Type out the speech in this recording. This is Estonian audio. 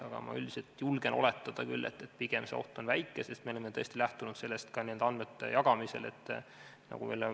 Aga üldiselt ma julgen oletada küll, et pigem on see oht väike, sest me oleme tõesti lähtunud nende andmete jagamisel ka sellest, ei inimese terviseandmeid ei saa anda kergekäeliselt.